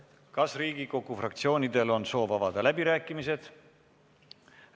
Kas Riigikogu fraktsioonidel on soovi avada läbirääkimisi?